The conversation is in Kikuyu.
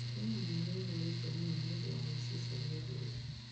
Kenya mũno, nĩ ĩhũrĩtwo mũno nĩũndu wa ũici ũcio wa irianĩ.